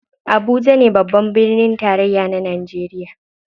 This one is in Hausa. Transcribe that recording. Abuja ne babban birnin tarayya na najeriya.